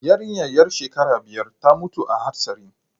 Yarinyar yar shekara biyar ta mutu a hatsarin